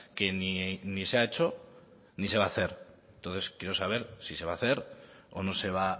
que ni se ha hecho ni se va a hacer entonces quiero saber si se va a hacer o no se va